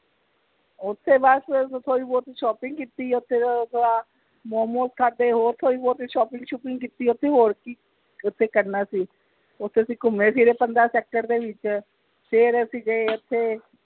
ਓਥੇ ਬਸ ਅਹ ਥੋੜੀ ਬਹੁੱਤ shopping ਕੀਤੀ ਓਥੇ ਉਹ ਆਪਣਾ momos ਖਾਧੇ ਹੋਰ ਥੋੜੀ ਬਹੁੱਤ shopping ਸੁਪਿੰਗ ਕੀਤੀ ਓਥੇ ਹੋਰ ਕਿ ਓਥੇ ਕਰਨਾ ਸੀ ਓਥੇ ਅਸੀਂ ਘੁੰਮੇ ਫਿਰੇ ਪੰਦਰਾਂ sector ਦੇ ਵਿਚ ਫਿਰ ਅਸੀਂ ਗਏ ਓਥੇ